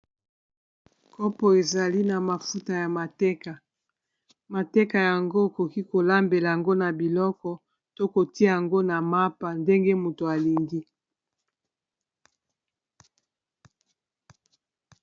kopo ezali na mafuta ya mateka mateka yango okoki kolambela yango na biloko to kotia yango na mapa ndenge moto alingi